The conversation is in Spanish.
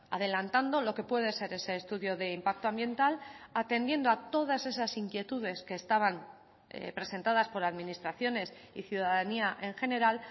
adelantando lo que puede ser ese estudio de impacto ambiental atendiendo a todas esas inquietudes que estaban presentadas por administraciones y ciudadanía en general